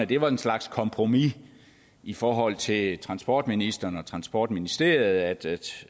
det var en slags kompromis i forhold til transportministeren og transportministeriet